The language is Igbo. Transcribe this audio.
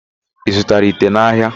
Ị zụtara ite n'ahịa?